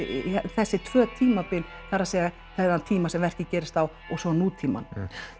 þessi tvö tímabil það er að segja þennan tíma sem verkið gerist á og svo nútímann